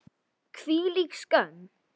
Hvílík skömm!